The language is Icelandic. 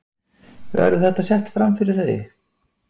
Verður þetta sett framfyrir þau?